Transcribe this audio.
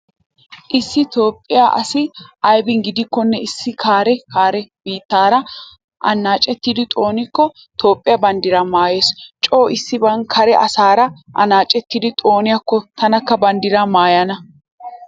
Issi toophphiya asi aybin gidikkonne issi kare kare biittaara annaacetti xoonikko toophphiya banddira maayees. Coo issiban kare asaara annaacettada xooniyakko taanikka banddira maayana.